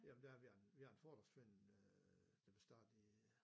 Jamen der har vi en vi har en fordragsforening øh der blev startet i